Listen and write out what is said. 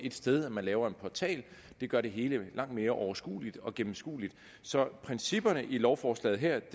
et sted ved at man laver en portal det gør det hele langt mere overskueligt og gennemskueligt så principperne i lovforslaget her